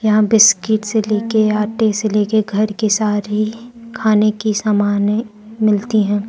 यहां बिस्किट से लेके आटे से लेके घर के सारे खाने के समाने मिलती हैं।